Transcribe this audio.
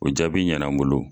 O jaabi ɲana n bolo.